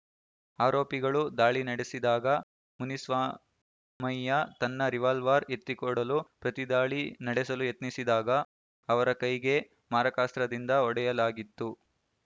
ಆರೋಪಿಗಳು ದಾಳಿ ನಡೆಸಿದಾಗ ಮುನಿಸ್ವಾಮಯ್ಯ ತನ್ನ ರಿವಾಲ್ವಾರ್‌ ಎತ್ತಿಕೊಡಲು ಪ್ರತಿದಾಳಿ ನಡೆಸಲು ಯತ್ನಿಸಿದಾಗ ಅವರ ಕೈಗೆ ಮಾರಕಾಸ್ತ್ರದಿಂದ ಹೊಡೆಯಲಾಗಿತ್ತು